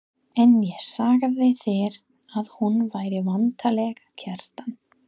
En ég sagði þér að hún væri væntanleg, Kjartan.